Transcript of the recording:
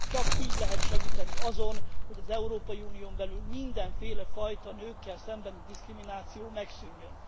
Csak így lehet segíteni azon, hogy az Európai Unión belül mindenféle fajta nőkkel szembeni diszkrimináció megszűnjön.